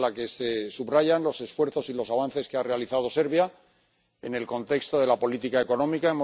En una de ellas se subrayan los esfuerzos y los avances que ha realizado Serbia en el contexto de la política económica.